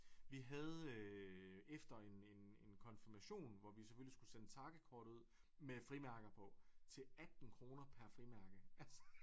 Vi havde øh efter en en en konfirmation hvor vi selvfølgelig skulle sende takkekort ud med frimærker på til 18 kroner per frimærke altså